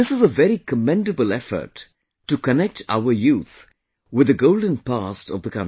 This is a very commendable effort to connect our youth with the golden past of the country